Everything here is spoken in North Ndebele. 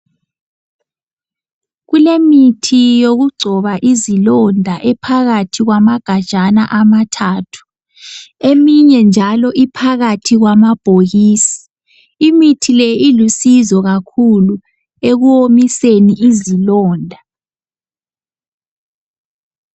Kulemithi yokugcoba izilonda ephakathi kwamagajana amathathu eminye njalo iphakathi kwamabhokisi imithi leyi ilusizo kakhulu ekuwomiseni izilonda .